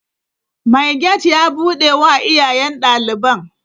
Mai gate ya bude wa iyayen daliban.